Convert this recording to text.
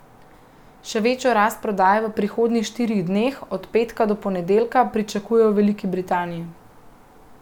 Še večjo rast prodaje v prihodnjih štirih dneh, od petka do ponedeljka, pričakujejo v Veliki Britaniji.